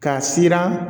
K'a siran